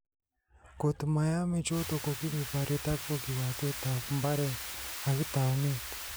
Kot mayame choto, kokimii bariet akopo kiwatet ab mbaret ak taunit